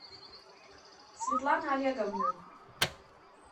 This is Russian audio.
светлана олеговна